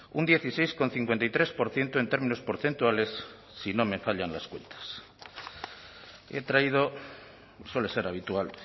un dieciséis coma cincuenta y tres por ciento en términos porcentuales si no me fallan las cuentas y he traído suele ser habitual